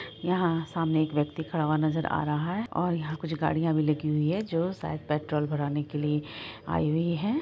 यहाँ हमें एक व्यक्ति खड़ा हुआ नजर आ रहा है और यहां कुछ गाड़ियां खड़ी है जो शायद पेट्रोल भरने के लिए आयी हुई है।